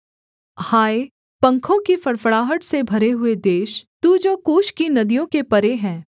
हाय पंखों की फड़फड़ाहट से भरे हुए देश तू जो कूश की नदियों के परे है